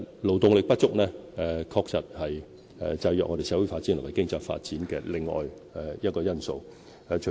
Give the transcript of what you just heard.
勞動力不足，確實是制約香港社會發展和經濟發展的另一個因素。